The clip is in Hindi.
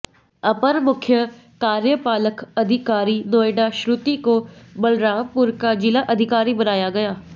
अपर मुख्य कार्यपालक अधिकारी नोएडा श्रुति को बलरामपुर का जिलाधिकारी बनाया गया